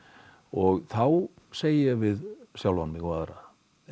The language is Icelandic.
og þá segi ég við sjálfan mig og aðra